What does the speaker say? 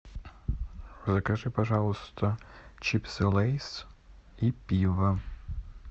закажи пожалуйста чипсы лейс и пиво